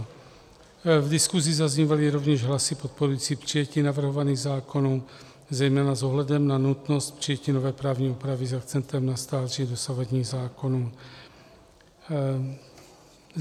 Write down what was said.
V diskusi zaznívaly rovněž hlasy podporující přijetí navrhovaných zákonů zejména s ohledem na nutnost přijetí nové právní úpravy s akcentem na stáří dosavadních zákonů.